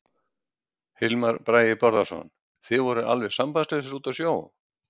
Hilmar Bragi Bárðarson: Þið voruð alveg sambandslausir úti á sjó?